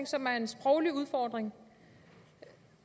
som er en sproglig udfordring